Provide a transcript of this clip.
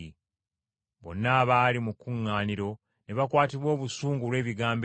Bonna abaali mu kuŋŋaaniro ne bakwatibwa obusungu olw’ebigambo ebyo,